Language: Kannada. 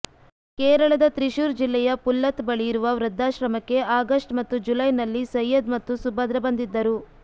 ಕೇರಳದ ತ್ರಿಶೂರ್ ಜಿಲ್ಲೆಯ ಪುಲ್ಲತ್ ಬಳಿಯಿರುವ ವೃದ್ಧಾಶ್ರಮಕ್ಕೆ ಆಗಸ್ಟ್ ಮತ್ತು ಜುಲೈನಲ್ಲಿ ಸೈಯದ್ ಮತ್ತು ಸುಭದ್ರ ಬಂದಿದ್ದರು